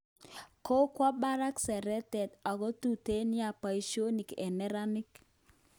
Kokwo barak seretet ako tuten nia boisionik eng neranik